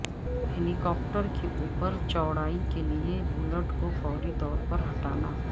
ہیلی copter کے اوپر چوڑائیوں کے لئے بولٹ کو فوری طور پر ہٹانا